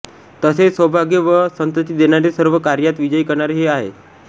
तसेच सौभाग्य व संतति देणारे सर्व कार्यात विजयी करणारे हे आहे